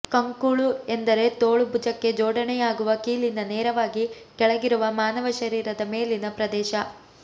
ಕಂಕುಳು ಎಂದರೆ ತೋಳು ಭುಜಕ್ಕೆ ಜೋಡಣೆಯಾಗುವ ಕೀಲಿನ ನೇರವಾಗಿ ಕೆಳಗಿರುವ ಮಾನವ ಶರೀರದ ಮೇಲಿನ ಪ್ರದೇಶ